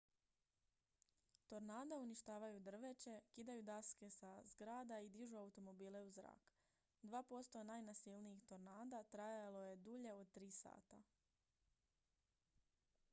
tornada uništavaju drveće kidaju daske sa zgrada i dižu automobile u zrak dva posto najnasilnijih tornada trajalo je dulje od tri sata